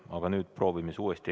Aga nüüd proovime uuesti.